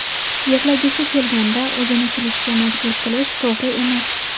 Yig‘lagisi kelganda o‘zini kulishga majbur qilish to‘g‘ri emas.